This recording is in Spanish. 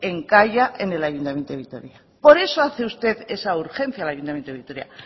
encalla en el ayuntamiento de vitoria por eso hace usted esa urgencia al ayuntamiento de vitoria